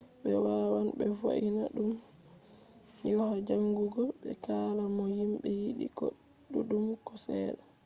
be wawan be vo’ina dum hoya jangugo be kala no himbe yidi ko duddum ko sedda